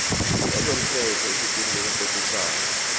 yezomthetho ephepheni lokucocisana